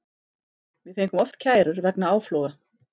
Við fengum oft kærur vegna áfloga.